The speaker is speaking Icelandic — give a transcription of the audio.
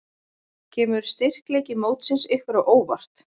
Kemur styrkleiki mótsins ykkur á óvart?